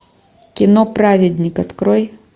кино праведник открой